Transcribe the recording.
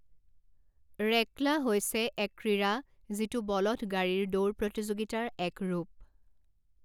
ৰেকলা হৈছে এক ক্ৰীড়া যিটো বলধ গাড়ীৰ দৌৰ প্ৰতিযোগিতাৰ এক ৰূপ।